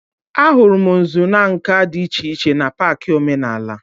A hụrụ m nzu n'nka dị iche iche n'pak omenala